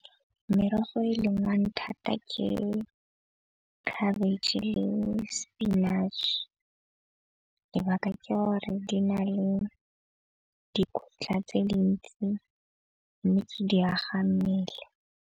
Merogo e lengwang thata ke khabetšhe le spinach-e. Lebaka ke gore di na le dikotla tse di ntsi mme ke di aga mmele.